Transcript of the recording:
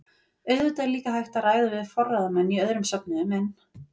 Auðvitað er líka hægt að ræða við forráðamenn í öðrum söfnuðum en